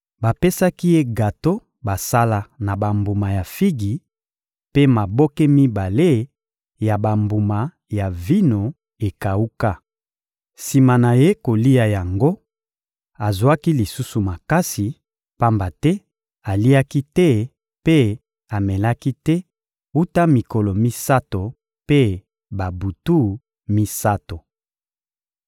Bapesaki ye gato basala na bambuma ya figi mpe maboke mibale ya bambuma ya vino ekawuka. Sima na ye kolia yango, azwaki lisusu makasi, pamba te aliaki te mpe amelaki te wuta mikolo misato mpe babutu misato.